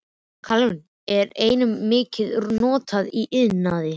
Kalíum er einnig mikið notað í iðnaði.